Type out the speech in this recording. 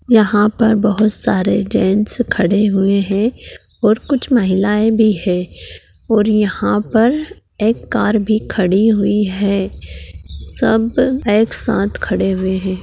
यहाँ पर बहुत सारे जैंट्स खड़े हुए है और कुछ महिलाये भी है और यहाँ पर एक कार भी खड़ी हुई है सब एक साथ खड़े हुए है।